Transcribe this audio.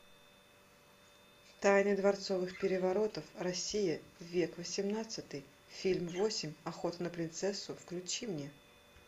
тайны дворцовых переворотов россия век восемнадцатый фильм восемь охота на принцессу включи мне